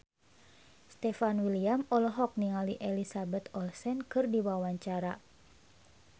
Stefan William olohok ningali Elizabeth Olsen keur diwawancara